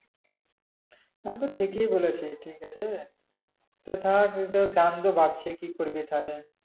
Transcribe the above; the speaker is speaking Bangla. তাইলে ঠিকি বলেছে ঠিক আছে তো থাক দাম তো বাড়ছে কি করবি তাইলে